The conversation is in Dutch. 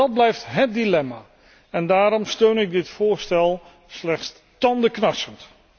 Dat blijft hét dilemma, en daarom steun ik dit voorstel slechts tandenknarsend.